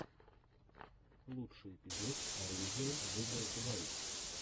лучший эпизод оружие в играх вайт